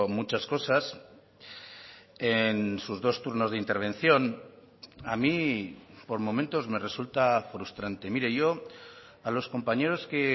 muchas cosas en sus dos turnos de intervención a mí por momentos me resulta frustrante mire yo a los compañeros que